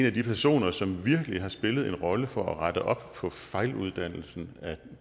af de personer som virkelig har spillet en rolle for at rette op på fejluddannelsen af